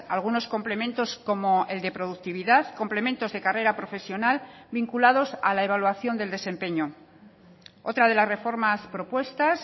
algunos complementos como el de productividad complementos de carrera profesional vinculados a la evaluación del desempeño otra de las reformas propuestas